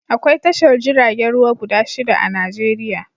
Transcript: Akwai tashar jiragen ruwa guda shida a Najeriya